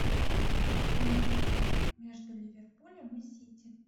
прямой эфир между ливерпулем и сити